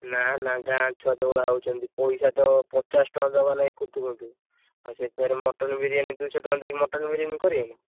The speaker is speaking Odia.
ନା, ନା ଗାଁ ଛୁଆ ଯଉ ଭଳିଆ ହଉଛନ୍ତି, ପଇସା ତ ପଚାଶ ଟଙ୍କା ଦବା ଲାଗି କୁନଥୁ କୁନ୍ଥୁ, ଆଉ ସେ ଫେରେ mutton ବିରିୟାନି ଦୁଇଶହ ଟଙ୍କା ଦେଇକି mutton ବିରିୟାନି କରିବେ ନା।